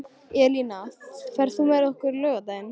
Elína, ferð þú með okkur á laugardaginn?